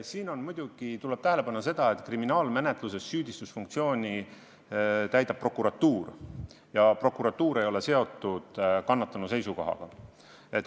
Siin muidugi tuleb tähele panna, et kriminaalmenetluses süüdistusfunktsiooni täidab prokuratuur ja prokuratuur ei ole seotud kannatanu seisukohaga.